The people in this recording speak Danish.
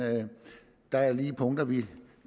der er lige nogle punkter vi